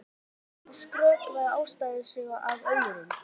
Ég hef ábyggilega einhvern tíma skrökvað ástarsögu að öðrum.